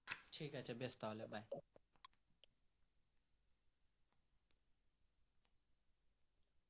ঠিক বেশ তাহলে রাক।